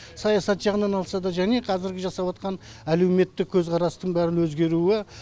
саясат жағынан алса да және қазіргі жасап атқан әлеуметтік көзқарастың бәрін өзгеруі